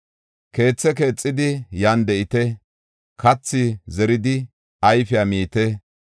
Keethe keexidi yan de7ite. Kathi zeridi ayfiya miite.